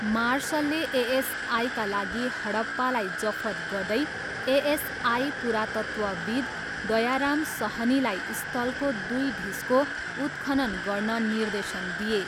मार्सलले एएसआईका लागि हडप्पालाई जफत गर्दै एएसआई पुरातत्त्वविद् दयाराम सहनीलाई स्थलको दुई ढिस्को उत्खनन गर्न निर्देशन दिए।